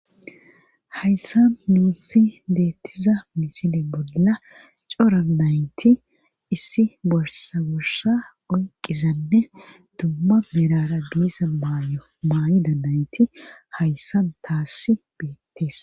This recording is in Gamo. hayssan nuussi deettiza misile bolla cora nayti issi borsa gorsa oyqqizanne dumma merara diisa mayo maayida nayti hayssan taassi beettees